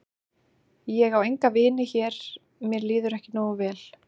Ég á enga vini hér mér líður ekki nógu vel.